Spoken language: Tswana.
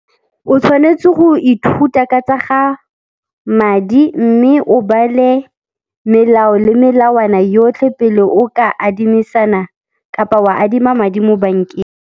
O tshwanetse go ithuta ka tsa ga madi mme o bale melao le melawana yotlhe pele o ka adimisanang kapa wa adima madi mo bankeng.